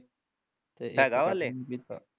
ਹੈਗਾ ਵਾਂ ਹਲੇ